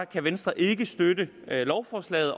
kan venstre ikke støtte lovforslaget